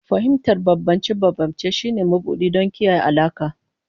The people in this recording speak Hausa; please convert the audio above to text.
Fahimtar bambance-bambance shine mabuɗi don kiyaye alaƙa.